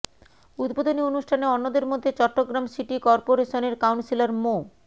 উদ্বোধনী অনুষ্ঠানে অন্যদের মধ্যে চট্টগ্রাম সিটি করপোরেশনের কাউন্সিলর মো